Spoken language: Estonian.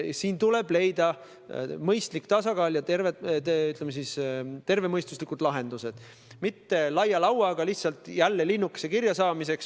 Siin tuleb leida mõistlik tasakaal ja tervemõistuslikud lahendused, mitte lüüa laia lauaga, et jälle linnuke kirja saada.